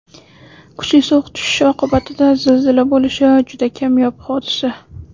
Kuchli sovuq tushishi oqibatida zilzila bo‘lishi juda kamyob hodisa.